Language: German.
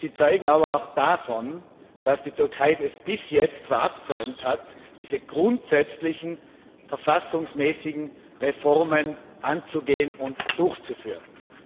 Sie zeugen aber auch davon, dass die Türkei es bis jetzt verabsäumt hat, diese grundsätzlichen verfassungsmäßigen Reformen anzugehen und durchzuführen.